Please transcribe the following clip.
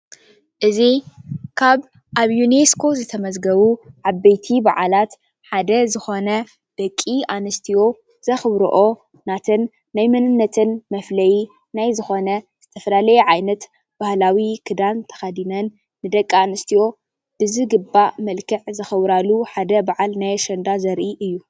እዚ ካብ ኣብ ዩኒስኮ ዝተመዝገቡ ዓበይቲ በዓላት ሓደ ዝኾነ ደቂ ኣንስትዮ ዘኽብርኦ ናተን ናይ መንነተን መፍለይ ናይ ዝኾነ ዝተፈላለየ ዓይነት ባህላዊ ክዳን ተኸዲነን ደቂ ኣንስትዮ ብዝግባእ መልክዕ ዘኽብራሉ ሓደ በዓል ናይ ኣሸንዳ ዘርኢ እዩ ።